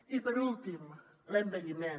i per últim l’envelliment